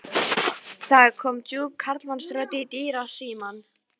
Það kom djúp karlmannsrödd í dyrasímann.